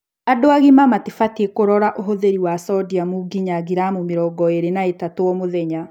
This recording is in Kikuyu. Andũ agima mabatiĩ kũrora ũhũthĩri wa sodiam ngĩnya ngiramu mĩrongo ĩĩrĩ na ithatũ o-mũthenya